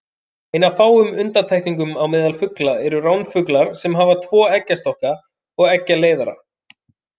Ein af fáum undantekningum á meðal fugla eru ránfuglar sem hafa tvo eggjastokka og eggjaleiðara.